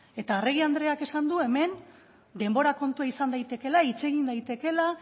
eta arregi andreak esan du hemen denbora kontua izan daitekeela hitz egin daitekeela